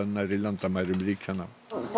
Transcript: nærri landamærum ríkjanna